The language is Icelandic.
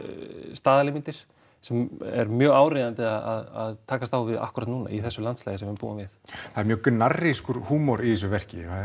staðalímyndir sem er mjög áríðandi að takast á við akkúrat núna í þessu landslagi sem við búum við það er mjög húmor í þessu verki